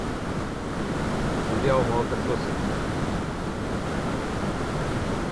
сериал молокососы